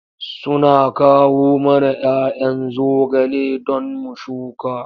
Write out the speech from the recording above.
Suna kawo mana 'ya 'yan zogale don mu shuka.